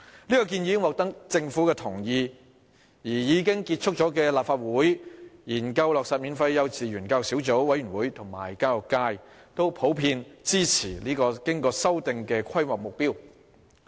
這項建議已經獲得政府同意，而已經結束運作的立法會"研究落實免費幼稚園教育小組委員會"和教育界都普遍支持經修訂的規劃目標。